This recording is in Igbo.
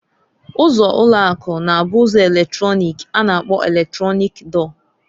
Ụzọ ulo aku, na abu ụzọ eletrọnịk a na-akpọ eletronik dọọ.